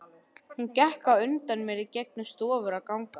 Hún gekk á undan mér í gegnum stofur og ganga.